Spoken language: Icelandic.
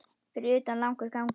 Fyrir utan langur gangur.